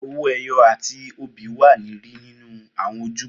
Owoeye ati obi wa ni ri ninu awọn ojúbọ.